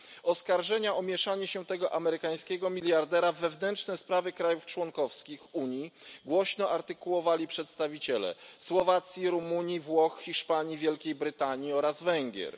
Oskarżenia o mieszanie się tego amerykańskiego miliardera w wewnętrzne sprawy krajów członkowskich Unii głośno artykułowali przedstawiciele Słowacji, Rumunii, Włoch, Hiszpanii, Wielkiej Brytanii oraz Węgier.